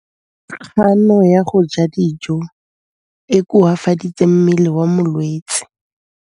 Kganô ya go ja dijo e koafaditse mmele wa molwetse.